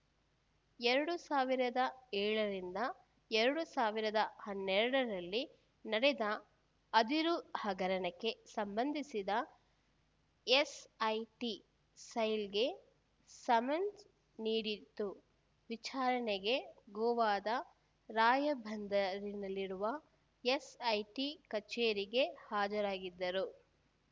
ಎರಡು ಸಾವಿರದ ಏಳರಿಂದ ಎರಡು ಸಾವಿರದ ಹನ್ನೆರಡರಲ್ಲಿ ನಡೆದ ಅದಿರು ಹಗರಣಕ್ಕೆ ಸಂಬಂಧಿಸಿ ಎಸ್‌ಐಟಿ ಸೈಲ್‌ಗೆ ಸಮನ್ಸ್‌ ನೀಡಿತ್ತು ವಿಚಾರಣೆಗೆ ಗೋವಾದ ರಾಯಬಂದರಿನಲ್ಲಿರುವ ಎಸ್‌ಐಟಿ ಕಚೇರಿಗೆ ಹಾಜರಾಗಿದ್ದರು